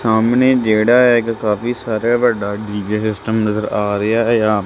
ਸਾਹਮਣੇ ਜਿਹੜਾ ਇਕ ਕਾਫੀ ਸਾਰਾ ਵੱਡਾ ਡੀ_ਜੇ ਸਿਸਟਮ ਨਜ਼ਰ ਆ ਰਿਹਾ ਆ।